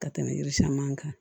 Ka tɛmɛ yiri caman kan